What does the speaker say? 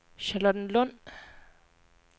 Charlottenlund